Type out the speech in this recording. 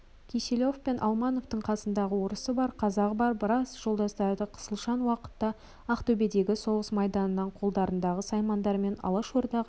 кисилев пен алмановтың қасындағы орысы бар қазағы бар біраз жолдастары қысалшаң уақытта ақтөбедегі соғыс майданынан қолдарындағы саймандарымен алашордаға